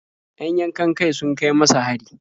Yan yankan-kai sun kai masa hari.